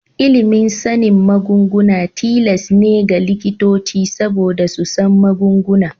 Ilimin sanin magunguna tilas ne ga likitoci saboda su san magunguna.